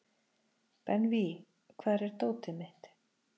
Benvý, hvar er dótið mitt?